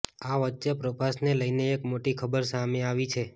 આ વચ્ચે પ્રભાસને લઇને એક મોટી ખબર સામે આવી છે